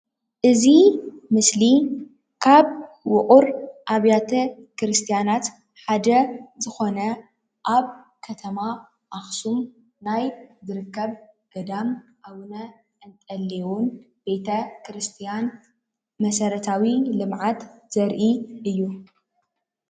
እዚ ምስሊ ጥንታዊ ቤተክርስትያን ኣብ ኣኽሱም ዝርከብ ቤተ ክርስትያን እዩ።